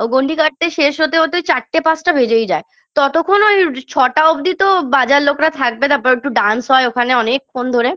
ও গন্ডি কাটতে শেষ হতে হতে চারটে পাঁচটা বেজেই যায় ততক্ষণ ওই ছটা অবধি তো বাজার লোকরা থাকবে তারপর একটু dance হয় ওখানে অনেক্ষণ ধরে